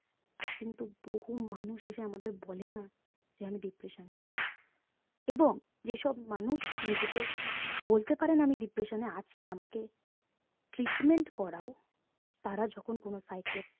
আজ কিন্তু বহু মানুষ এসে আমাদের বলে না যে আমি depression এ আছি এবং যেসব মানুষ নিজেকে বলতে পারেনা আমি depression এ আছি আমাকে treatment করাও তারা যখন কোনো psychiatrist